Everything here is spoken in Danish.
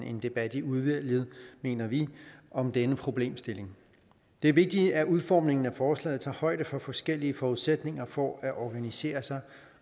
en debat i udvalget mener vi om denne problemstilling det er vigtigt at udformningen af forslaget tager højde for forskellige forudsætninger for at organisere sig